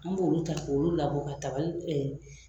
An b'olu ta k'olu labɔ ka tabali